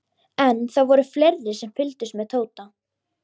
En það voru fleiri sem fylgdust með Tóta.